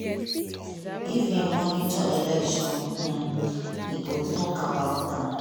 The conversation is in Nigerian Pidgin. "if e monitor election um e go tok about am.